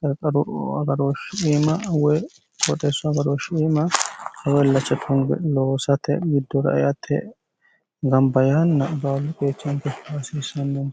qaqqaru agarooshshi iima we kooxeesso agarooshshiiimaw illacha thunge loosate widduraiate gambayaanna baablu geechaangotto hasiissannonni